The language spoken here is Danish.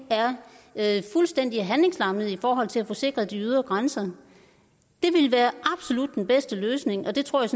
er fuldstændig handlingslammet i forhold til at få sikret de ydre grænser det ville være absolut den bedste løsning og det tror jeg